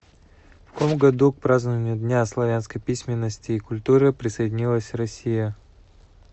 в каком году к празднованию дня славянской письменности и культуры присоединилась россия